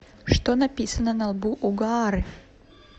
что написано на лбу у гаары